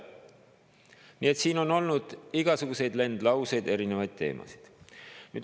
Nii et siin on olnud igasuguseid lendlauseid ja erinevaid teemasid.